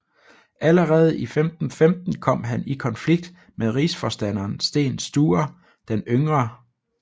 Allerede i 1515 kom han i konflikt med rigsforstanderen Sten Sture den yngre